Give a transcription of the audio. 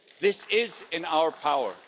This is in our power.